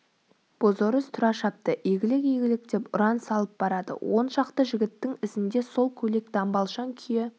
бозорыс тұра шапты игілік игілік деп ұран салып барады он шақты жігіттің ізінде сол көйлек-дамбалшаң күйі